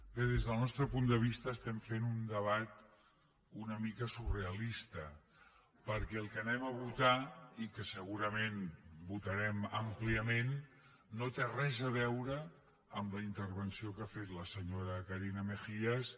bé des del nostre punt de vista estem fent un debat una mica surrealista perquè el que votarem i que segurament votarem àmpliament no té res a veure amb la intervenció que ha fet la senyora carina mejías